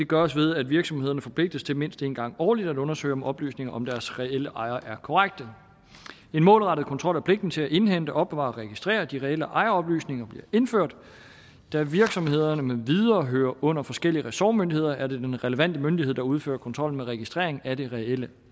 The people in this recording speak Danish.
gøres ved at virksomhederne forpligtes til mindst en gang årligt at undersøge om oplysninger om deres reelle ejere er korrekte en målrettet kontrol og pligt til at indhente opbevare og registrere de reelle ejeroplysninger bliver indført da virksomhederne med videre hører under forskellige ressortmyndigheder er det den relevante myndighed der udfører kontrollen med registrering af de reelle